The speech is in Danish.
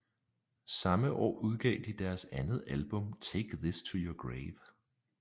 Samme år udgav de deres andet album Take This To Your Grave